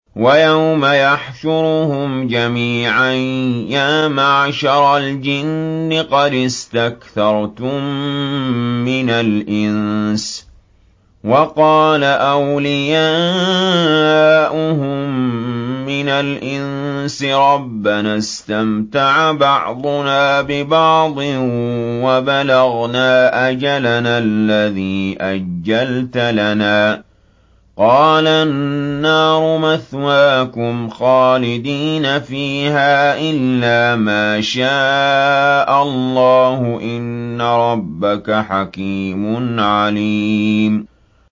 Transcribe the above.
وَيَوْمَ يَحْشُرُهُمْ جَمِيعًا يَا مَعْشَرَ الْجِنِّ قَدِ اسْتَكْثَرْتُم مِّنَ الْإِنسِ ۖ وَقَالَ أَوْلِيَاؤُهُم مِّنَ الْإِنسِ رَبَّنَا اسْتَمْتَعَ بَعْضُنَا بِبَعْضٍ وَبَلَغْنَا أَجَلَنَا الَّذِي أَجَّلْتَ لَنَا ۚ قَالَ النَّارُ مَثْوَاكُمْ خَالِدِينَ فِيهَا إِلَّا مَا شَاءَ اللَّهُ ۗ إِنَّ رَبَّكَ حَكِيمٌ عَلِيمٌ